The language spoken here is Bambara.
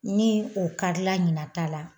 Ni o karila ɲina ta la